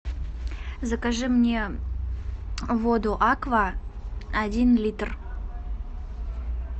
закажи мне воду аква один литр